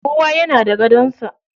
Kowa yana da gadon sa.